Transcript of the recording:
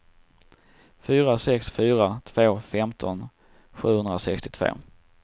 fyra sex fyra två femton sjuhundrasextiotvå